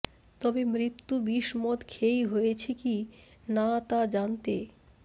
তবে মৃত্যু বিষমদ খেয়েই হয়েছে কি না তা জানতে